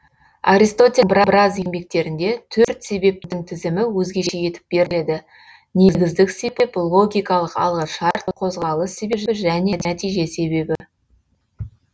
аристотельдің біраз еңбектерінде төрт себептің тізімі өзгеше етіп беріледі негіздік себеп логикалық алғышарт қозғалыс себебі және нәтиже себебі